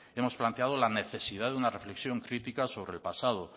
hemos planteado la necesidad de una reflexión crítica sobre el pasado